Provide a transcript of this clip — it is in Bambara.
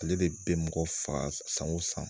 Ale de bɛ mɔgɔ faga san wo san.